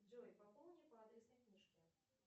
джой пополни по адресной книжке